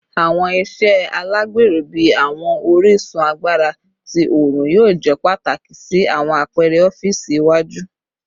Awọn iṣe alagbero bii awọn orisun agbara ti oorun yoo jẹ pataki si awọn apẹrẹ ọfiisi iwaju